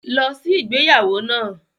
Lọ sí igbeyawo naa!